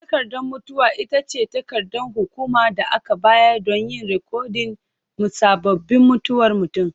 Takardar mutuwa ita ce takardar hukuma da aka bayar don yin rikodin musabbabin mutuwar mutum.